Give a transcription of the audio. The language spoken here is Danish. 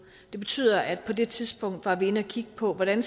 det betyder at vi på det tidspunkt var inde og kigge på hvordan